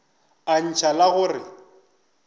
a ntšha la go re